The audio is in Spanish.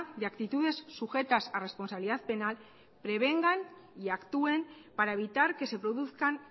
de actitudes sujetas a responsabilidad penal prevengan y actúen para evitar que se produzcan